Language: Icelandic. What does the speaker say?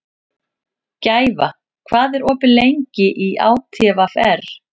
Gæfa, hvað er opið lengi í ÁTVR?